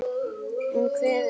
Hún kveður.